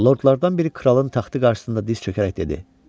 Lordlardan biri kralın taxtı qarşısında diz çökərək dedi: